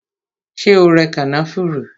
Ṣé o rẹ kànáfùrú?